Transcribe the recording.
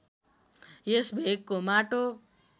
यस भेगको माटो